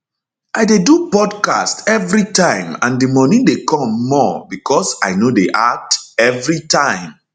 i dey do podcast everitime and di money dey come more becos i no dey act everitime